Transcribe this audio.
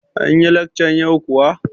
Anyi lekcan yau kuwa?